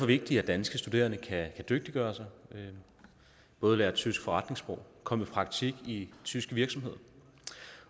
vigtigt at danske studerende kan dygtiggøre sig ved både at lære tysk forretningssprog og komme i praktik i tyske virksomheder